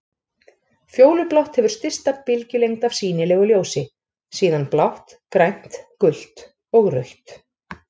Fjólublátt hefur stysta bylgjulengd af sýnilegu ljósi, síðan blátt, grænt, gult og rautt.